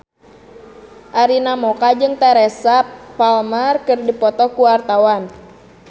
Arina Mocca jeung Teresa Palmer keur dipoto ku wartawan